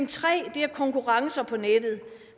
tre er konkurrencer på nettet